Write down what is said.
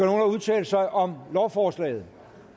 at udtale sig om lovforslaget